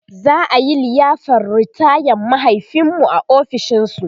za'a liyafar ritayan mahaifinmu a ofishin su